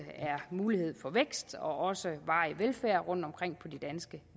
er mulighed for både vækst og varig velfærd rundtomkring på de danske